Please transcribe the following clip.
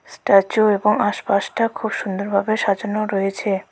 Statue এবং আশপাশটা খুব সুন্দরভাবে সাজানো রয়েছে।